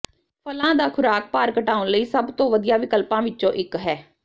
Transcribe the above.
ਫਲਾਂ ਦਾ ਖ਼ੁਰਾਕ ਭਾਰ ਘਟਾਉਣ ਲਈ ਸਭ ਤੋਂ ਵਧੀਆ ਵਿਕਲਪਾਂ ਵਿਚੋਂ ਇਕ ਹੈ